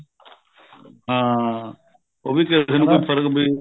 ਹਾਂ ਉਹ ਵੀ ਕਿਸੇ ਨੂੰ ਕੋਈ ਫਰਕ ਪੈਣਾ